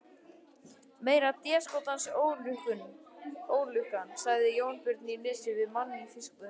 Meiri déskotans ólukkan, sagði Jónbjörn í Nesi við mann í fiskbúðinni.